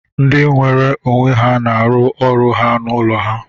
Ndị nweere onwe ha na-arụ ọrụ ha n'ụlọ ha